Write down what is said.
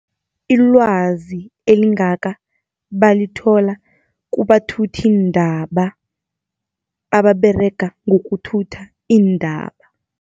IIwazi elingaka balithola kubathuthiindaba ababerega ngokuthutha iindaba.